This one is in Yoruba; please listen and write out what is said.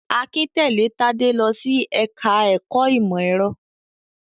Akin tẹ̀lé Tádé lọ sí ẹ̀ka-ẹ̀kọ́ ìmọ̀-ẹ̀rọ.